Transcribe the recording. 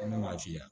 Ne m'a f'i ye